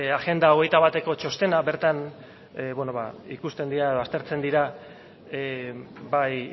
agenda hogeita bateko txostena bertan beno ba ikusten dira aztertzen dira bai